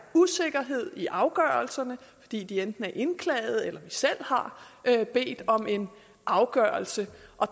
usikkerhed i afgørelserne fordi de enten er indklagede eller fordi vi selv har har bedt om en afgørelse